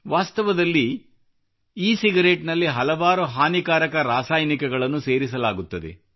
ವಾಸ್ತವದಲ್ಲಿ e cigarette ನಲ್ಲಿ ಹಲವಾರು ಹಾನಿಕಾರಕ ರಾಸಾಯನಿಕಗಳನ್ನು ಸೇರಿಸಲಾಗುತ್ತದೆ